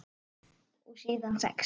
Og síðan sex?